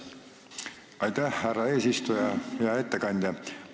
Aitäh, härra eesistuja!